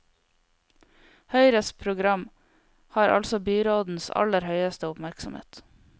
Høyres program har altså byrådens aller høyeste oppmerksomhet.